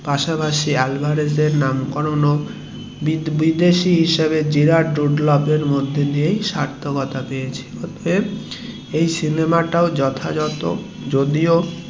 পাশাপাশি আলভারেজের নামকরণ ও বিদেশী হিসাবে জেরার্ড রুডলফ এর মধ্যে দিয়েই স্বার্থকতা পেয়েছে অর্থাৎ এই সিনেমা তও যথাযথ যদিও